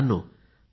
मित्रांनो